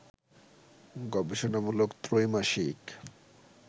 গবেষণামূলক ত্রৈমাসিক